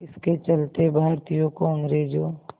इसके चलते भारतीयों को अंग्रेज़ों